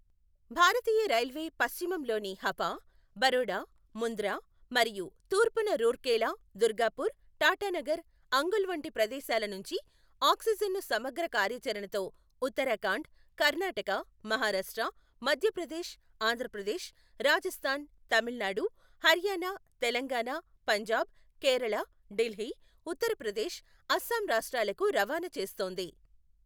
భారతీయ railway పశ్చిమంలోని హపా, బరోడా, ముంద్రా మరియు తూర్పున రూర్కెలా, దుర్గాపూర్, టాటానగర్, అంగుల్ వంటి ప్రదేశాల నుంచి ఆక్సిజన్ ను సమగ్ర కార్యాచరణతో ఉత్తరాఖండ్, కర్ణాటక, మహారాష్ట్ర, మధ్యప్రదేశ్, ఆంధ్రప్రదేశ్, రాజస్థాన్, తమిళనాడు, హర్యానా, తెలంగాణ, పంజాబ్, కేరళ, ఢిల్లీ, ఉత్తర ప్రదేశ్, అస్సాం రాష్ట్రాలకు రవాణా చేస్తోంది.